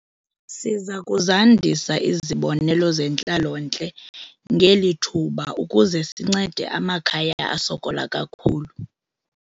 Siza kuzandisa izibonelelo zentlalontle ngeli thuba ukuze sincede amakhaya asokola kakhulu.